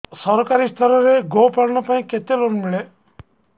ସରକାରୀ ସ୍ତରରେ ଗୋ ପାଳନ ପାଇଁ କେତେ ଲୋନ୍ ମିଳେ